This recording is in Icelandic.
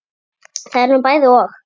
Það er nú bæði og.